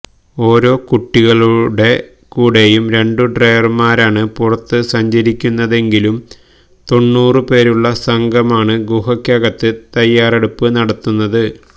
ഓരോ കുട്ടികളുടെ കൂടെയും രണ്ടു ഡൈവർമാരാണ് പുറത്തു സഞ്ചരിക്കുന്നതെങ്കിലും തൊണ്ണൂറു പേരുള്ള സംഘമാണ് ഗുഹക്കകത്ത് തയ്യാറെടുപ്പ് നടത്തുന്നത്